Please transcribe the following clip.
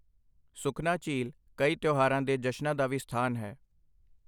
ਸੁਖਨਾ ਝੀਲ ਕਈ ਤਿਉਹਾਰਾਂ ਦੇ ਜਸ਼ਨਾਂ ਦਾ ਵੀ ਸਥਾਨ ਹੈ।